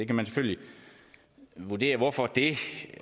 kan selvfølgelig vurdere hvorfor det